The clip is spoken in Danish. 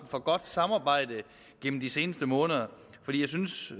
for godt samarbejde gennem de seneste måneder for jeg synes